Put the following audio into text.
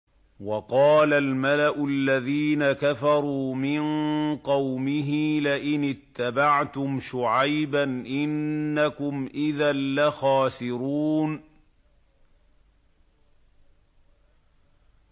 وَقَالَ الْمَلَأُ الَّذِينَ كَفَرُوا مِن قَوْمِهِ لَئِنِ اتَّبَعْتُمْ شُعَيْبًا إِنَّكُمْ إِذًا لَّخَاسِرُونَ